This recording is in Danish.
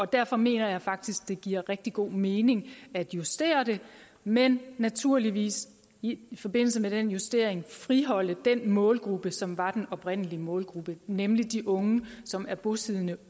derfor mener jeg faktisk det giver rigtig god mening at justere det men naturligvis i forbindelse med den justering friholde den målgruppe som var den oprindelige målgruppe nemlig de unge som er bosiddende